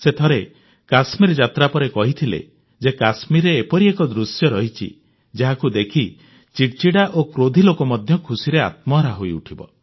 ସେ ଥରେ କଶ୍ମୀର ଯାତ୍ରା ପରେ କହିଥିଲେ ଯେ କଶ୍ମୀରରେ ଏପରି ଏକ ଦୃଶ୍ୟ ରହିଛି ଯାହାକୁ ଦେଖି ଚିଡ଼ିଚିଡ଼ା ଓ କ୍ରୋଧୀ ଲୋକ ମଧ୍ୟ ଖୁସିରେ ଆତ୍ମହରା ହୋଇଉଠିବ